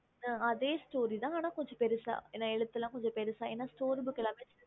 அதே book அனா எழுத்துல கொஞம் பெருசா வரும்